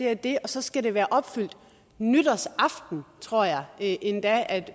at det så skal være opfyldt nytårsaften tror jeg endda at